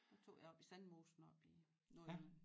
Der tog jeg oppe i Sandmosen oppe i Nordjylland